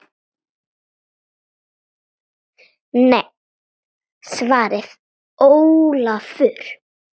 Nei, svaraði Ólafur.